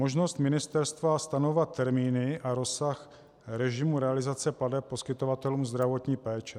Možnost ministerstva stanovovat termíny a rozsah režimu realizace plateb poskytovatelům zdravotní péče.